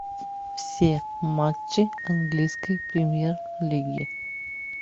все матчи английской премьер лиги